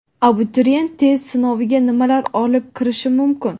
Abituriyent test sinoviga nimalar olib kirish mumkin?.